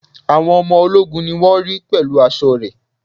Àwọn ọmọ ológun ni wón ri pẹ̀lú aṣọ re